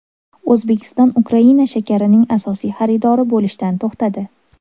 O‘zbekiston Ukraina shakarining asosiy xaridori bo‘lishdan to‘xtadi.